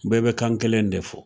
Bɛɛ bɛ kan kelen de fɔ